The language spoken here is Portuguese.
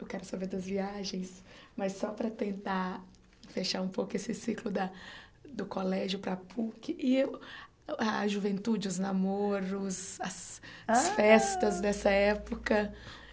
Eu quero saber das viagens, mas só para tentar fechar um pouco esse ciclo da do colégio para a PUC e a juventude, os namoros, as ah as festas dessa época.